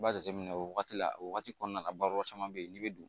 I b'a jateminɛ o wagati la o wagati kɔnɔna la baro caman be yen n'i be don